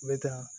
N bɛ taa